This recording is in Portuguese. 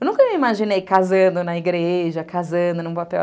Eu nunca me imaginei casando na igreja, casando num papel.